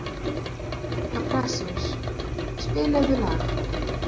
Kaprasíus, spilaðu lag.